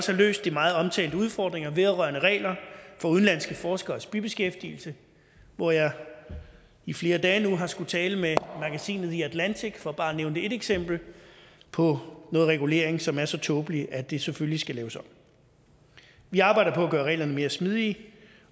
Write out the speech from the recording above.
have løst de meget omtalte udfordringer vedrørende regler for udenlandske forskeres bibeskæftigelse hvor jeg i flere dage nu har skullet tale med magasinet the atlantic for bare at nævne et eksempel på noget regulering som er så tåbelig at det selvfølgelig skal laves om vi arbejder på at gøre reglerne mere smidige